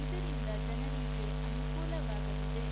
ಇದರಿಂದ ಜನರಿಗೆ ಅನುಕೂಲವಾಗಲಿದೆ